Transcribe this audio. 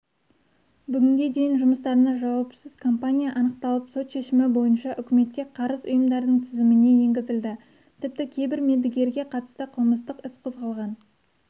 бүгінге дейін жұмыстарына жауапсыз компания анықталып сот шешімі бойынша үкіметке қарыз ұйымдардың тізіміне енгізілді тіпті кейбір мердігерге қатысты қылмыстық іс қозғалған